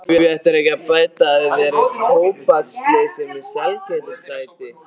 Því ættirðu ekki að bæta þér upp tóbaksleysið með sælgætisáti.